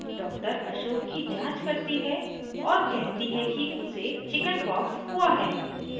doctor ashok की जाँच करती है और कहती है कि उसे chickenpox हुई हैं